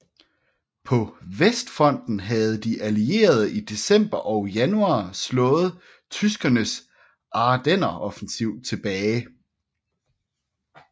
På Vestfronten havde de Allierede i december og januar slået tyskernes Ardenneroffensiv tilbage